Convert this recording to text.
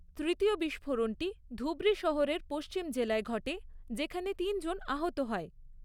তৃতীয় বিস্ফোরণটি ধুবরি শহরের পশ্চিম জেলায় ঘটে, যেখানে তিনজন আহত হয়।